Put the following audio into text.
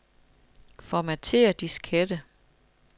Formatér diskette.